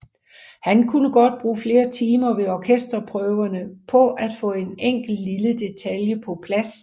Han kunne godt bruge flere timer ved orkesterprøverne på at få en enkelt lille detalje på plads